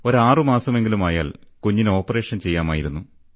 ഒരാറുമാസമെങ്കിലുമായാൽ കുഞ്ഞിന് ഓപ്പറേഷൻ ചെയ്യാമായിരുന്നു